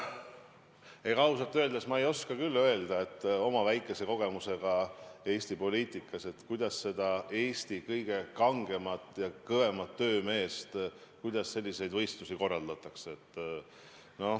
Ega ma ausalt öeldes ei oska küll öelda oma väikese kogemuse põhjal Eesti poliitikas, kuidas neid Eesti kõige kangema ja kõvema töömehe võistlusi korraldatakse.